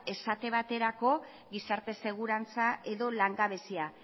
esate baterako gizarte segurantza edo langabezia